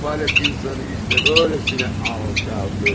Səfalət insanı eləcə alçaldır.